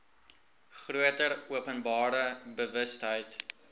groter openbare bewustheid